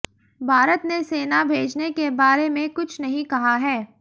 भारत ने सेना भेजने के बारे में कुछ नहीं कहा है